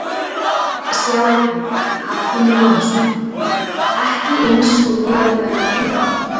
Sjá einnig: Hallgrímur Jónasson: Ekki eins og ég verði að fara heim